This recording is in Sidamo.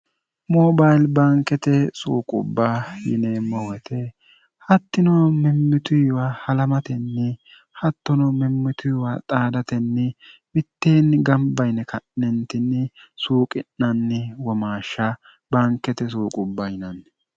moobayili baankete suuqubba yineemmohuete hattino mimmituiwa halamatenni hattono mimmituwiwa xaadatenni witteenni gambayine ka'nentinni suuqi'nanni wamaashsha bankete suuqubba yinanni